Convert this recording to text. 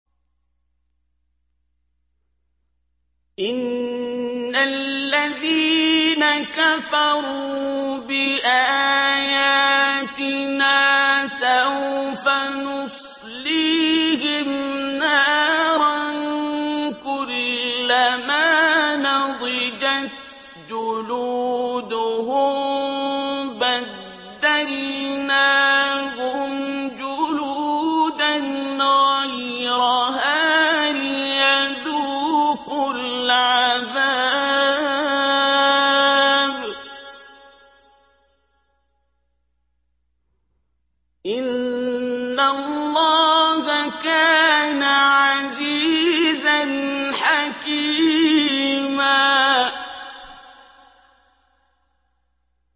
إِنَّ الَّذِينَ كَفَرُوا بِآيَاتِنَا سَوْفَ نُصْلِيهِمْ نَارًا كُلَّمَا نَضِجَتْ جُلُودُهُم بَدَّلْنَاهُمْ جُلُودًا غَيْرَهَا لِيَذُوقُوا الْعَذَابَ ۗ إِنَّ اللَّهَ كَانَ عَزِيزًا حَكِيمًا